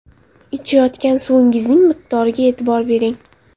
Ichayotgan suvingizning miqdoriga e’tibor bering.